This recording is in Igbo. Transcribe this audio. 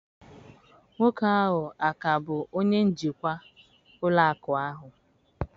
Nwoke ahụ a ka bụ onye njikwa ụlọ akụ a?